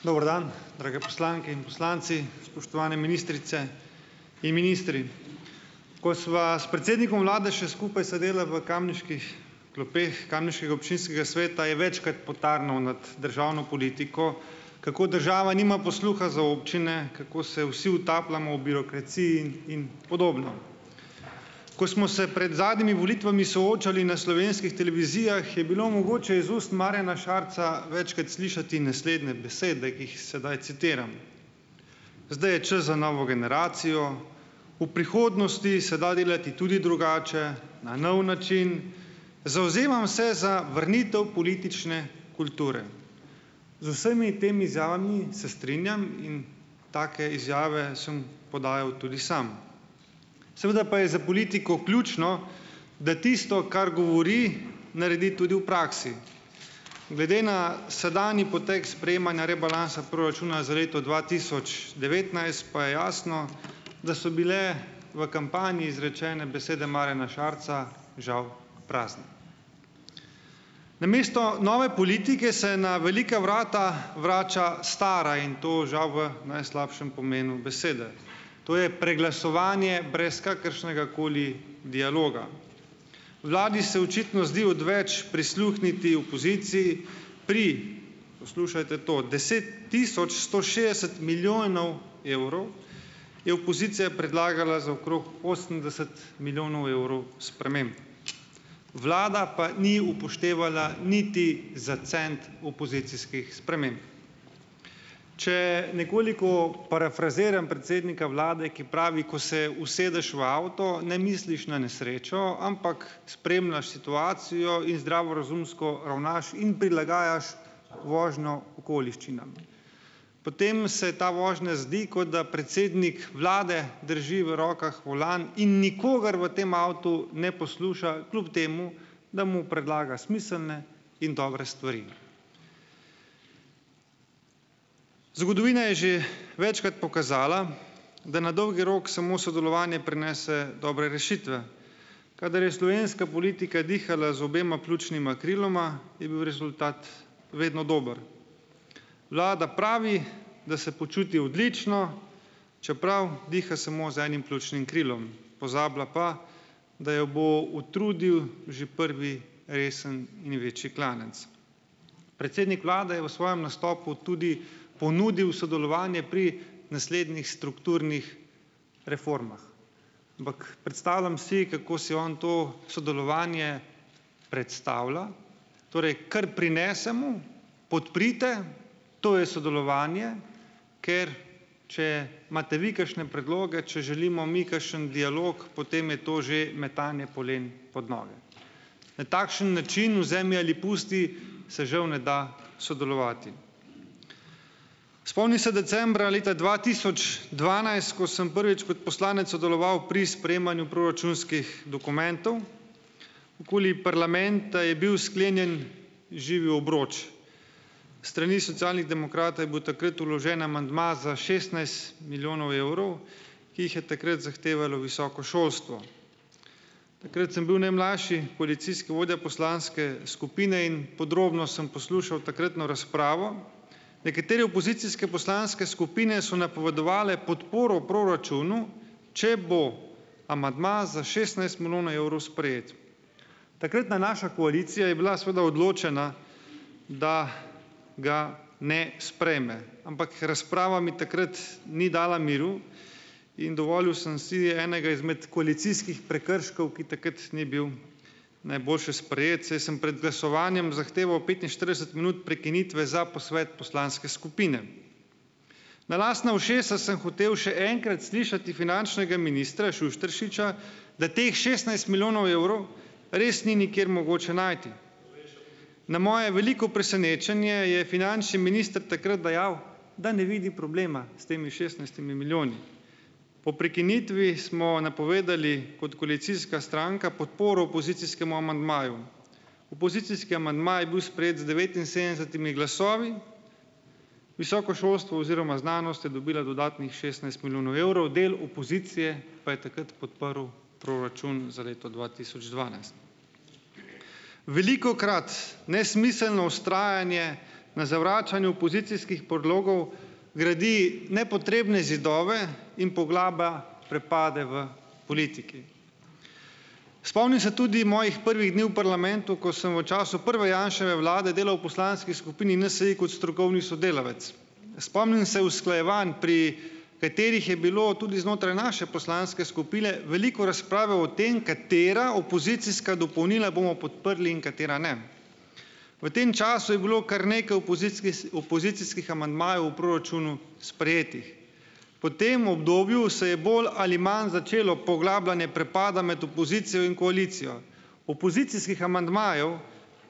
Dober dan, drage poslanke in poslanci, spoštovane ministrice in ministri! Ko sva s predsednikom vlade še skupaj sedela v kamniških klopeh kamniškega občinskega sveta je večkrat potarnal nad državno politiko, kako država nima posluha za občine, kako se vsi utapljamo v birokraciji in podobno, ko smo se pred zadnjimi volitvami soočali na slovenskih televizijah, je bilo mogoče iz ust Marjana Šarca večkrat slišati naslednje besede, ki jih sedaj citiram: "Zdaj je čas za novo generacijo," "V prihodnosti se da delati tudi drugače na nov način," "Zavzemam se za vrnitev politične kulture." Z vsemi temi izjavami se strinjam in take izjave sem podajal tudi sam. Seveda pa je za politiko ključno, da tisto, kar govori, naredi tudi v praksi. Glede na sedanji potek sprejemanja rebalansa proračuna za leto dva tisoč devetnajst pa je jasno, da so bile v kampanji izrečene besede Marjana Šarca žal prazne. Namesto nove politike se na velika vrata vrača stara in to žal v najslabšem pomenu besede, to je preglasovanje brez kakršnegakoli dialoga. Vladi se očitno zdi odveč prisluhniti opoziciji pri, poslušajte to, deset tisoč sto šestdeset milijonov evrov, je opozicija predlagala za okrog osemdeset milijonov evrov sprememb, vlada pa ni upoštevala niti za cent opozicijskih sprememb. Če nekoliko parafraziram predsednika vlade, ki pravi, ko se usedeš v avto, ne misliš na nesrečo, ampak spremljaš situacijo in zdravorazumsko ravnaš in prilagajaš vožnjo okoliščinam. Potem se ta vožnja zdi, kot da predsednik vlade drži v rokah volan in nikogar v tem avtu ne posluša, kljub temu da mu predlaga smiselne in dobre stvari. Zgodovina je že večkrat pokazala, da na dolgi rok samo sodelovanje prinese dobre rešitve. Kadar je slovenska politika dihala z obema pljučnima kriloma, je bil rezultat vedno dober. Vlada pravi, da se počuti odlično, čeprav diha samo z enim pljučnim krilom, pozabila pa, da jo bo utrudil že prvi resen in večji klanec. Predsednik vlade je o svojem nastopu tudi ponudil sodelovanje pri naslednjih strukturnih reformah, ampak predstavljam si, kako si on to sodelovanje predstavlja, torej kar prinesemo, podprite, to je sodelovanje, ker če imate vi kakšne predloge, če želimo mi kakšen dialog, potem je to že metanje polen pod noge. Na takšen način, vzemi ali pusti, se žal ne da sodelovati. Spomnim se decembra leta dva tisoč dvanajst, ko sem prvič kot poslanec sodeloval pri sprejemanju proračunskih dokumentov. Okoli parlamenta je bil sklenjen živi obroč. S strani Socialnih demokratov je bil takrat vložen amandma za šestnajst milijonov evrov, ki jih je takrat zahtevalo visoko šolstvo. Takrat sem bil najmlajši koalicijski vodja poslanske skupine in podrobno sem poslušal takratno razpravo. Nekatere opozicijske poslanske skupine so napovedovale podporo proračunu, če bo amandma za šestnajst milijonov evrov sprejet. Takratna naša koalicija je bila, seveda, odločena, da ga ne sprejme. Ampak razprava mi takrat ni dala miru in dovolil sem si enega izmed koalicijskih prekrškov, ki takrat ni bil najboljše sprejet, saj sem pred glasovanjem zahteval petinštirideset minut prekinitve za posvet poslanske skupine. Na lastna ušesa sem hotel še enkrat slišati finančnega ministra Šušteršiča, da teh šestnajst milijonov evrov res ni nikjer mogoče najti. Na moje veliko presenečenje je finančni minister takrat dejal, da ne vidi problema s temi šestnajstimi milijoni. Po prekinitvi smo napovedali kot koalicijska stranka podporo opozicijskemu amandmaju. Opozicijski amandma je bil sprejet z devetinsedemdesetimi glasovi. Visoko šolstvo oziroma znanost je dobila dodatnih šestnajst milijonov evrov. Del opozicije pa je takrat podprl proračun za leto dva tisoč dvanajst. Velikokrat nesmiselno vztrajanje na zavračanju opozicijskih predlogov gradi nepotrebne zidove in poglablja prepade v politiki. Spomnim se tudi mojih prvih dni v parlamentu, ko sem v času prve Janševe vlade delal v poslanski skupini NSi kot strokovni sodelavec. Spomnim se usklajevanj, pri katerih je bilo tudi znotraj naše poslanske skupine veliko razprave o tem, katera opozicijska dopolnila bomo podprli in katera ne. V tem času je bilo kar nekaj opozicijskih amandmajev v proračunu sprejetih. Po tem obdobju se je bolj ali manj začelo poglabljanje prepada med opozicijo in koalicijo. Opozicijskih amandmajev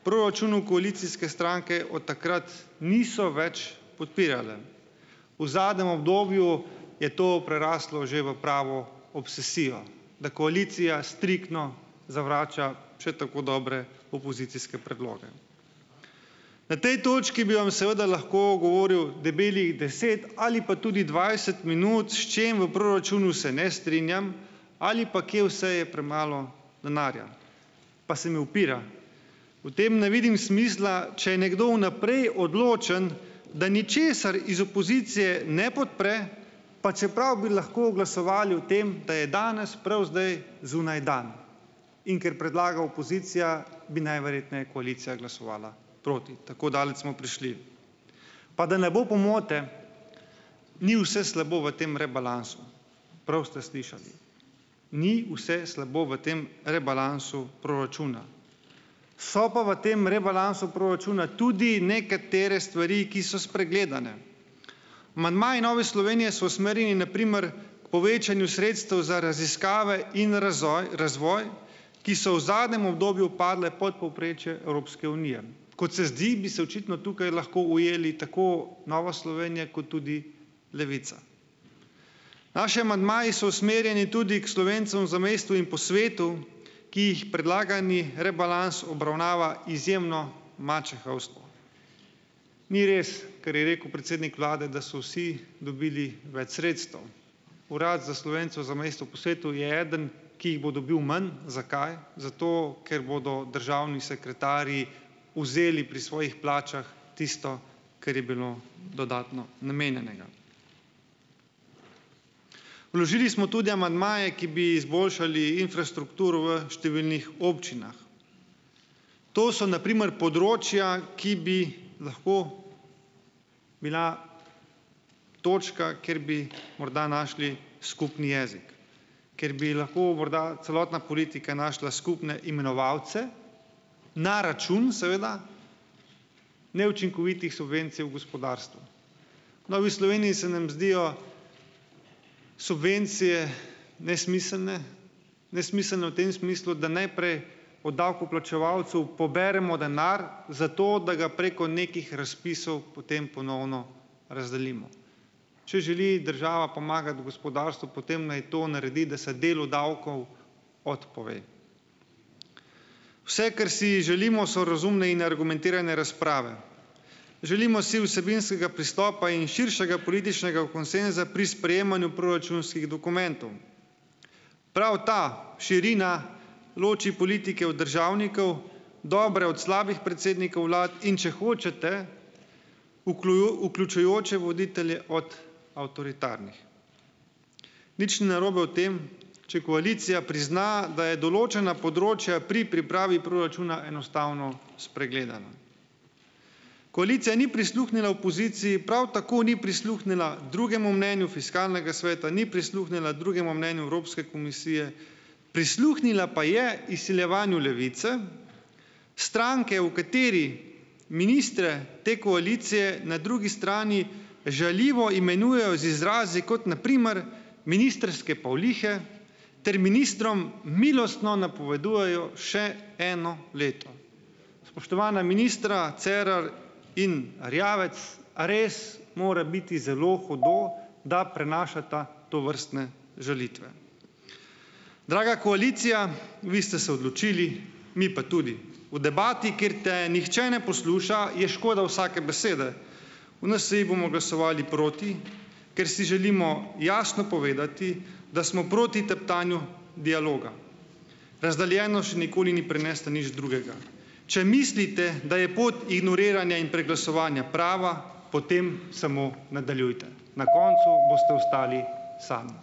proračunu koalicijske stranke od takrat niso več podpirale. V zadnjem obdobju je to preraslo že v pravo obsesijo, da koalicija striktno zavrača še tako dobre opozicijske predloge. Na tej točki bi vam seveda lahko govoril debelih deset ali pa tudi dvajset minut, s čim v proračunu se ne strinjam, ali pa, kje vse je premalo denarja. Pa se mi upira. V tem ne vidim smisla, če je nekdo vnaprej odločen, da ničesar iz opozicije ne podpre, pa čeprav bi lahko glasovali o tem, da je danes prav zdaj zunaj dan. In ker predlaga opozicija, bi najverjetneje koalicija glasovala proti, tako daleč smo prišli. Pa da ne bo pomote, ni vse slabo v tem rebalansu. Prvi ste slišali. Ni vse slabo v tem rebalansu proračuna. So pa v tem rebalansu proračuna tudi nekatere stvari, ki so spregledane. Amandmaji Nove Slovenije so usmerjeni na primer k povečanju sredstev za raziskave in razvoj razoj, ki so v zadnjem obdobju padle pod povprečje Evropske unije. Kot se zdi, bi se očitno tukaj lahko ujeli tako Nova Slovenija kot tudi Levica. Naši amandmaji so usmerjeni tudi k Slovencem v zamejstvu in po svetu, ki jih predlagani rebalans obravnava izjemno mačehovsko. Ni res, kar je rekel predsednik vlade, da so vsi dobili več sredstev. Urad za Slovence v zamejstvu po svetu je eden, ki jih bo dobil manj. Zakaj? Zato, ker bodo državni sekretarji vzeli pri svojih plačah tisto, kar je bilo dodatno namenjenega. Vložili smo tudi amandmaje, ki bi izboljšali infrastrukturo v številnih občinah. To so na primer področja, ki bi lahko bila točka, kjer bi morda našli skupni jezik. Kjer bi lahko morda celotna politika našla skupne imenovalce na račun, seveda, neučinkovitih subvencij v gospodarstvu. V Novi Sloveniji se nam zdijo subvencije nesmiselne, nesmiselne v tem smislu, da najprej od davkoplačevalcev poberemo denar zato, da ga preko nekih razpisov potem ponovno razdelimo. Če želi država pomagati gospodarstvu, potem naj to naredi, da se delu davkov odpove. Vse, kar si želimo, so razumne in argumentirane razprave. Želimo si vsebinskega pristopa in širšega političnega konsenza pri sprejemanju proračunskih dokumentov. Prav ta širina loči politike od državnikov, dobre od slabih predsednikov vlad in, če hočete, vključujoče voditelje od avtoritarnih. Nič ni narobe o tem, če koalicija prizna, da je določena področja pri pripravi proračuna enostavno spregledala. Koalicija ni prisluhnila opoziciji, prav tako ni prisluhnila drugemu mnenju fiskalnega sveta, ni prisluhnila drugemu mnenju Evropske komisije, prisluhnila pa je izsiljevanju Levice, stranke, v kateri ministre te koalicije na drugi strani žaljivo imenujejo z izrazi, kot na primer ministrske pavlihe, ter ministrom milostno napovedujejo še eno leto. Spoštovana ministra, Cerar in Erjavec, a res mora biti zelo hudo, da prenašata tovrstne žalitve? Draga koalicija, vi ste se odločili, mi pa tudi. V debati, kjer te nihče ne posluša, je škoda vsake besede. V NSi bomo glasovali proti, ker si želimo jasno povedati, da smo proti teptanju dialoga. Razdeljenost še nikoli ni prinesla nič drugega. Če mislite, da je pot ignoriranja in preglasovanja prava, potem samo nadaljujte. Na koncu boste ostali sami.